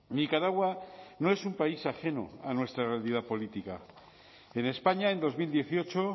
nicaragua no es un país ajeno a nuestra realidad política en españa en dos mil dieciocho